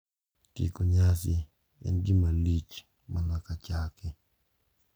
Tieko nyasi en gima lich mana kaka chake.